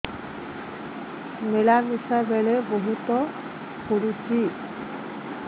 ମିଳାମିଶା ବେଳେ ବହୁତ ପୁଡୁଚି